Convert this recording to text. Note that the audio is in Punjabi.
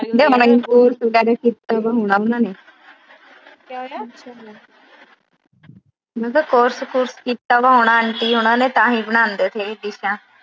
course ਕੀਤਾ ਵਾ ਹੋਣਾ ਉਹਨਾਂ ਨੇ। ਮੈਂ ਕਿਹਾ course ਕੁਰਸ ਕੀਤਾ ਵਾ ਹੋਣਾ ਆਂਟੀ ਨੇ। ਤਾਂ ਹੀ ਬਣਾਉਂਦੇ ਸਹੀ ਡਿਸ਼ਾਂ